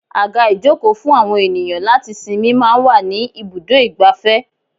Àga ìjókòó fún àwọn ènìyàn láti sinmi máa ń wà ní ibùdó igbàfẹ́.